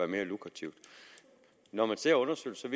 mere lukrativt når man ser undersøgelser